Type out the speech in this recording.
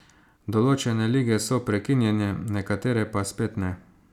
Določene lige so prekinjene, nekatere pa spet ne.